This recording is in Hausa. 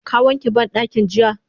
Ka wanke bandakin jiya?